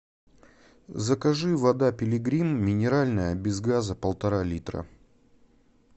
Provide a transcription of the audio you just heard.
закажи вода пилигрим минеральная без газа полтора литра